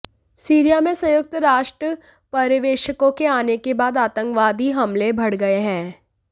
Syria में संयुक्त राष्ट्र पर्यवेक्षकों के आने के बाद आतंकवादी हमले बढ़ गए हैं